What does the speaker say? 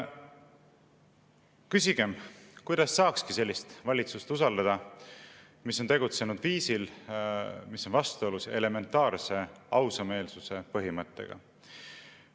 Küsigem, kuidas saakski usaldada sellist valitsust, kes on tegutsenud viisil, mis on vastuolus elementaarse ausameelsuse põhimõttega.